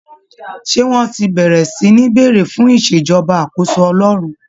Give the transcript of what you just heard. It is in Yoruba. Ṣé wọ́n ti bẹ̀rẹ̀ sí ní béèrè fún ìṣèjọba àkóso Ọlọ́run?